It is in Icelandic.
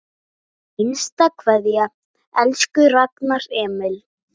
HINSTA KVEÐJA Elsku Ragnar Emil.